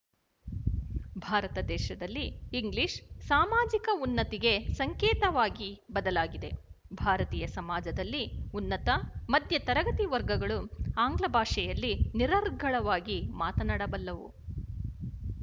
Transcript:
ಭಾರತ ದೇಶದಲ್ಲಿ ಇಂಗ್ಲಿಶ ಸಾಮಾಜಿಕ ಉನ್ನತಿಗೆ ಸಂಕೇತವಾಗಿ ಬದಲಾಗಿದೆ ಭಾರತೀಯ ಸಮಾಜದಲ್ಲಿ ಉನ್ನತ ಮಧ್ಯ ತರಗತಿ ವರ್ಗಗಳು ಆಂಗ್ಲ ಭಾಷೆಯಲ್ಲಿ ನಿರರ್ಗಳವಾಗಿ ಮಾತನಾಡಬಲ್ಲವು